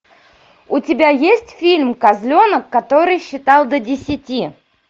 у тебя есть фильм козленок который считал до десяти